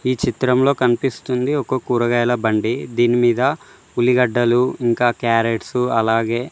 ఈ చిత్రంలో కనిపిస్తుంది ఒక కూరగాయల బండి దీనిమీద ఉలిగడ్డలు ఇంకా క్యారెట్స్ అలాగే--